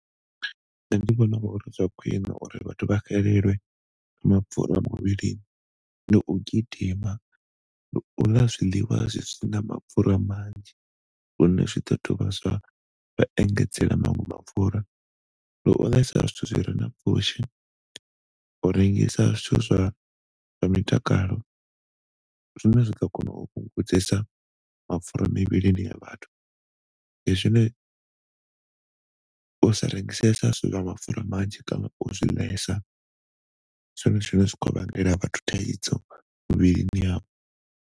Ṋne ndi vhona uri zwa khwiṋe uri vhathu vha xelelwe mapfura muvhilini ndi u gidima, ndi uḽa zwiḽiwa zwi sina mapfura manzhi hune zwi ḓo dovha zwa engedzela maṅwe mapfura ndi u ḽesa zwithu zwi re na pfushi. U rengisa zwithu zwa mitakalo zwino ḓo kona u vhungudzisa mapfura mivhilini ya vhathu ndi zwine, u sa rengisesa zwithu zwa mapfura manzhi kana u zwi ḽesa ndi zwone zwine zwi khou vhangela vhathu thaidzo mivhilini yavho.